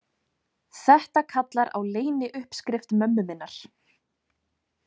Þetta kallar á leyniuppskrift mömmu minnar.